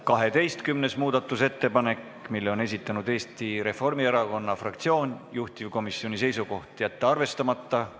12. muudatusettepaneku on esitanud Eesti Reformierakonna fraktsioon, juhtivkomisjoni seisukoht: jätta see arvestamata.